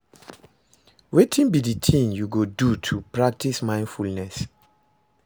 Wetin be di thing you go do to practice mindfulness?